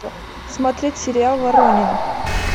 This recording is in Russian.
смотреть сериал воронины